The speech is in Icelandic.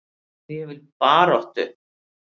Ég vil baráttu.